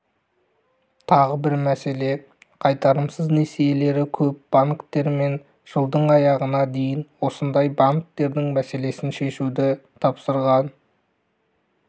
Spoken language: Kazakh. тағы бір мәселе қайтарымсыз несиелері көп банктер мен жылдың аяғына дейін осындай банктердің мәселесін шешуді тапсырған